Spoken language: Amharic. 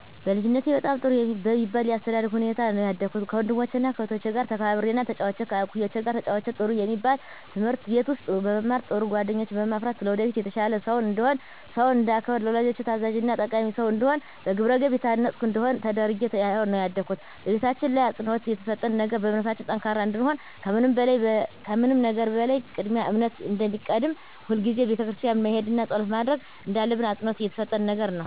በልጅነቴ በጣም ጥሩ በሚባል የአስተዳደግ ሁኔታ ነው ያደኩት ከወንድሞቸና ከእህቶቸ ጋር ተከባብሬና ተጫውቼ ከእኩዮቼ ጋር ተጫውቼ ጥሩ የሚባል ትምህርት ቤት ውስጥ በመማር ጥሩ ጓደኞችን በማፍራት ለወደፊት የተሻለ ሰው እንድሆን ሰውን እንዳከብር ለወላጆቼ ታዛዥና ጠቃሚ ሰው እንድሆን በግብረገብ የታነፅኩ እንድሆን ተደርጌ ነው ያደኩት በቤታችን ላይ አፅንዖት የተሰጠው ነገር በእምነታችን ጠንካራ እንድንሆን ከምንም ነገር በላይ ቅድሚያ እምነት እንደሚቀድም ሁልጊዜም ቤተክርስቲያን መሄድና ፀሎት ማድረግ እንዳለብን አፅንዖት የተሰጠን ነገር ነው።